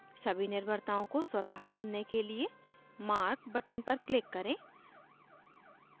सारी निर्भरताओं को स्वतः चुनने के लिए mark button पर click करें